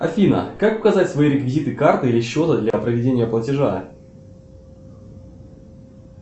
афина как указать свои реквизиты карты или счета для проведения платежа